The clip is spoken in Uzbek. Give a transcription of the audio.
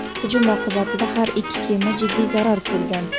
Hujum oqibatida har ikki kema jiddiy zarar ko‘rgan.